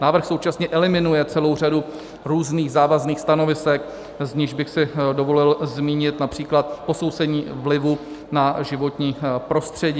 Návrh současně eliminuje celou řadu různých závazných stanovisek, z nichž bych si dovolil zmínit například posouzení vlivu na životní prostředí.